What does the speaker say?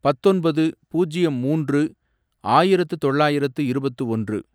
பத்தொன்பது, பூஜ்யம் மூன்று, ஆயிரத்து தொள்ளாயிரத்து இருபத்து ஒன்று